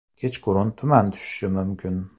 Kechqurun tuman tushishi mumkin.